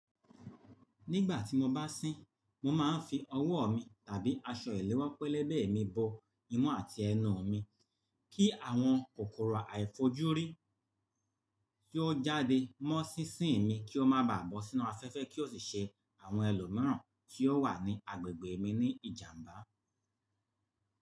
Nígbà tí mo bá sín, mo máa ń fi ọwọ́ mi tàbí aṣọ ẹlẹ́wọ́ pẹlẹbẹ mi bọ imú àti ẹnu mi kí àwọn kòkòrò àìfojúrí tí ó jáde mọ́ sísín mi kí ó má baà bọ́ sínú afẹ́fẹ́ kí ó sì ṣe àwọn ẹlòmíràn tí ó wà ní agbègbè mi ní ìjàmbá.